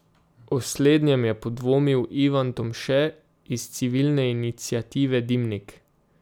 O slednjem je podvomil Ivan Tomše iz civilne iniciative Dimnik.